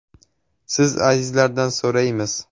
Siz, azizlardan so‘raymiz.